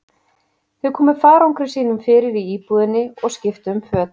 Þau komu farangri sínum fyrir í íbúðinni og skiptu um föt.